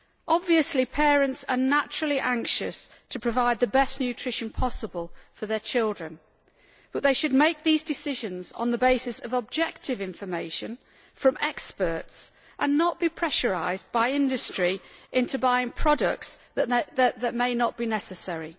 Obviously, parents are naturally anxious to provide the best nutrition possible for their children, but they should make these decisions on the basis of objective information from experts and not be pressurised by industry into buying products that may not be necessary.